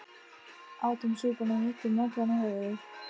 Átum súpuna og hittum naglann á höfuðið